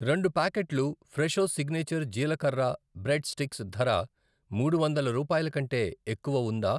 రెండు ప్యాకెట్లు Fresho signature జీలకర్ర బ్రెడ్ స్టిక్స్ ధర మూడు వందల రూపాయలకంటే ఎక్కువ ఉందా?